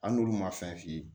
Hali n'olu ma fɛn f'i ye